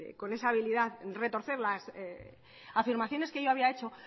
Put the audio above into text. con esa habilidad de retorcer las afirmaciones que yo había hecho